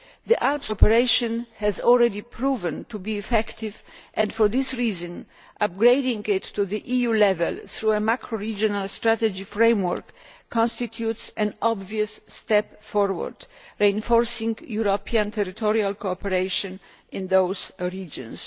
The Alps cooperation has already proved to be effective, and for this reason, upgrading it to EU level through a macro regional strategy framework constitutes an obvious step forward, reinforcing European territorial cooperation in those regions.